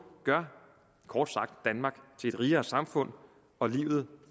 gør kort sagt danmark til et rigere samfund og livet